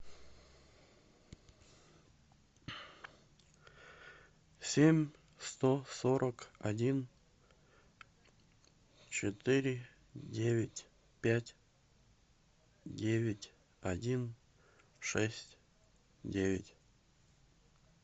семь сто сорок один четыре девять пять девять один шесть девять